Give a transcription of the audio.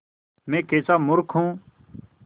मैं कैसा मूर्ख हूँ